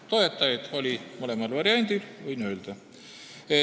Toetajaid oli mõlemal variandil, võin öelda.